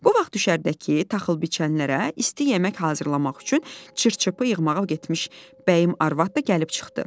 Bu vaxt düşərgədəki taxıl biçənlərə isti yemək hazırlamaq üçün çır-çöpü yığmağa getmiş Bəyim arvad da gəlib çıxdı.